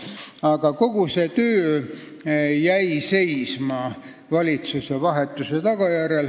Aga kogu see töö jäi seisma valitsuse vahetuse tagajärjel.